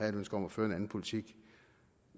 et ønske om at føre en anden politik